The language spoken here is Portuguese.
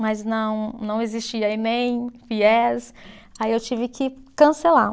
Mas não, não existia enem, fies, aí eu tive que cancelar.